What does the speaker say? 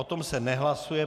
O tom se nehlasuje.